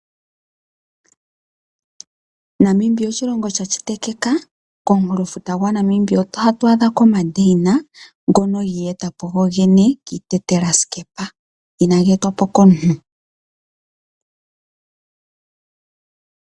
Namibia oshilongo shashitikika, komunkulofuta gwaNamibia oto adhako ndeyina ngono giiyetapo gogene kiitetelasekepa.